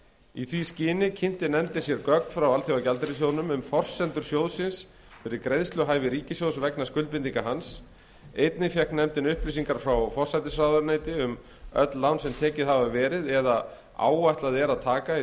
í því skyni kynnti nefndin sér gögn frá alþjóðagjaldeyrissjóðnum um forsendur sjóðsins fyrir greiðsluhæfi ríkissjóðs vegna skuldbindinga hans einnig fékk nefndin upplýsingar frá forsætisráðuneyti um öll lán sem tekin hafa verið eða áætlað er að taka í